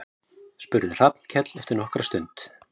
spurði Hallkell eftir nokkra stund.